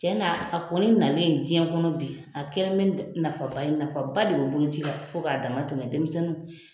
Tiɲɛ na a kɔni nalen diɲɛ kɔnɔ bi,a kɛlen nafaba ye, nafaba de bɛ bolo ci la fo k'a dama tɛmɛ denmisɛnninw